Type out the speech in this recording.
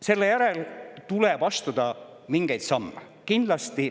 Selle järel tuleb kindlasti astuda veel mingeid samme.